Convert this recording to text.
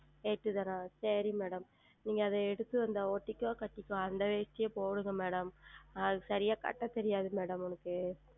எட்டு தான சரிங்கள் Madam நீங்கள் அது எடுத்து அந்த ஒட்டிக்கொ கட்டிக்கோ அந்த வேட்டியும் போடுங்கள் Madam அது சரியாக உடுத்த தெரியாது Madam அவனுக்கு